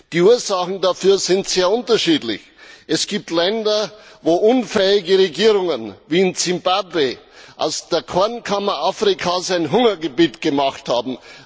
Die Ursachen dafür sind sehr unterschiedlich. Es gibt Länder, wo unfähige Regierungen wie in Zimbabwe aus der Kornkammer Afrikas ein Hungergebiet gemacht haben.